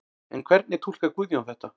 En hvernig túlkar Guðjón þetta?